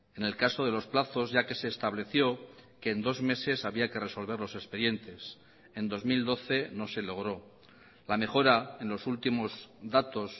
en el caso de los plazos ya que se estableció que en dos meses había que resolver los expedientes en dos mil doce no se logró la mejora en los últimos datos